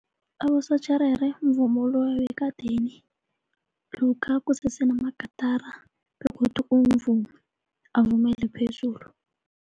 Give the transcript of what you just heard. Abosotjherere mvumo loya wekadeni lokha kusese namagatara begodu umvumi avumele phezulu.